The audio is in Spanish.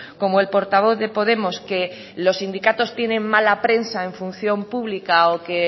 como el portavoz de podemos que los sindicatos tienen mala prensa en función pública o que